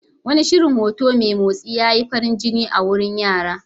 Wani shirin hoto mai motsi ya yi farin jini a wurin yara.